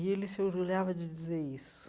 E ele se orgulhava de dizer isso.